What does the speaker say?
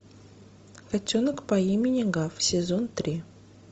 котенок по имени гав сезон три